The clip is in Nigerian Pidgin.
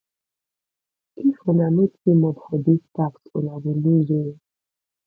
if una no teamup for dis task una go loose o